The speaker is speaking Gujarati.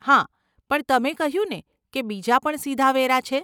હા, પણ તમે કહ્યુંને કે બીજા પણ સીધા વેરા છે?